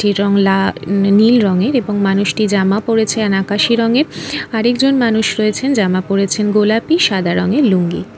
এটির রং লা নীল রঙের এবং মানুষটি জামা পরেছেন আকাশি রঙের আর একজন মানুষ রয়েছেন জামা পরেছেন গোলাপি সাদা রঙের লুঙ্গি ।